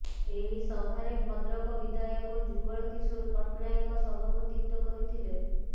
ଏହି ସଭାରେ ଭଦ୍ରକ ବିଧାୟକ ଯୁଗଳ କିଶୋର ପଟ୍ଟନାୟକ ସଭାପତିତ୍ୱ କରିଥିଲେ